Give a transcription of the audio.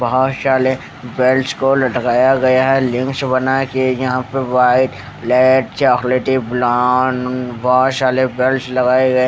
बोहत साले बेल्ट्स को लटकाया गया है लिंक्स बनाया है कि यहा बे बायत लेड चोकलेटी ब्लावन बोहत शाले बेल्ट्स लगाये गये--